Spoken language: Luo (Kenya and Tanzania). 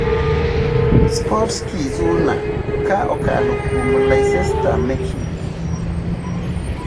(Sportski Zurnal, ka okalo kuom Leicester Mercury).